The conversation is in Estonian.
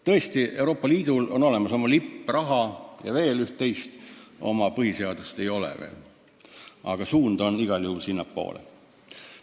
Tõsi, Euroopa Liidul on olemas oma lipp, raha ja veel üht-teist, oma põhiseadust veel ei ole, aga suund on igal juhul sinnapoole.